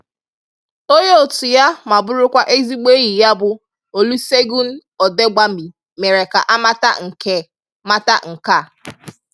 Onye otu ya ma bụrụkwa ezigbo enyi ya bụ Olusegun Odegbami mere ka a mata nke mata nke a